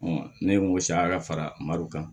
ne ye n ko saraka madu kan